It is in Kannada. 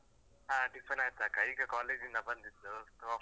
ಹಾ tiffin ಆಯ್ತಕ್ಕ, ಈಗ college ಇಂದ ಬಂದಿದ್ದು ಕಾಫಿ.